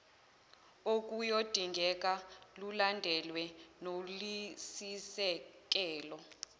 okuyodingeka lulandelwe noluyisisekelo